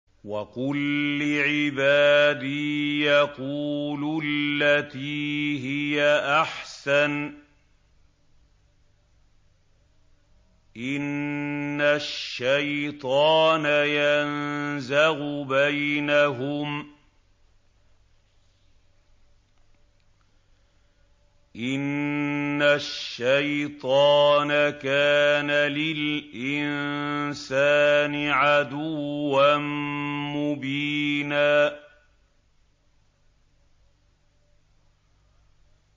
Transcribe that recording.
وَقُل لِّعِبَادِي يَقُولُوا الَّتِي هِيَ أَحْسَنُ ۚ إِنَّ الشَّيْطَانَ يَنزَغُ بَيْنَهُمْ ۚ إِنَّ الشَّيْطَانَ كَانَ لِلْإِنسَانِ عَدُوًّا مُّبِينًا